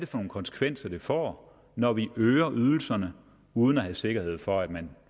for nogle konsekvenser det får når vi øger ydelserne uden at have sikkerhed for at man